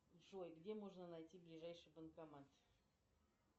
джой где можно найти ближайший банкомат